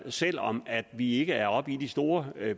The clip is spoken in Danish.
selv om vi ikke er oppe i de store